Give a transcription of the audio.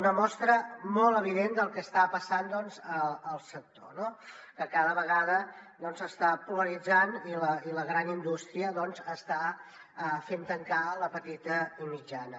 una mostra molt evident del que està passant doncs al sector que cada vegada s’està polaritzant i la gran indústria està fent tancar la petita i mitjana